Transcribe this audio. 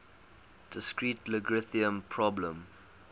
discrete logarithm problem